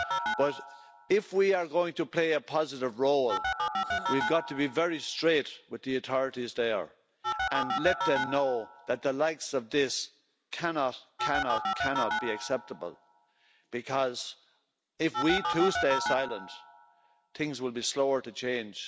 But, if we are going to play a positive role, we have got to be very straight with the authorities there and let them know that the likes of this cannot be acceptable because, if we too stay silent, things will be slower to change.